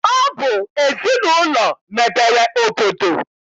Ọ bụ ezinaụlọ mebere obodo